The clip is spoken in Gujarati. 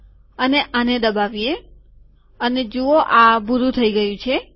અને આને દબાવીએ અને જુઓ આ ભૂરું થઇ ગયું છે